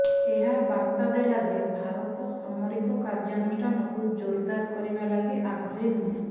ଏହା ବାର୍ତ୍ତା ଦେଲା ଯେ ଭାରତ ସାମରିକ କାର୍ଯ୍ୟାନୁଷ୍ଠାନକୁ ଜୋରଦାର କରିବା ଲାଗି ଆଗ୍ରହୀ ନୁହେଁ